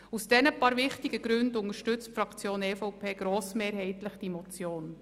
Aus diesen paar wichtigsten Gründen unterstützt die Fraktion EVP grossmehrheitlich die Motion.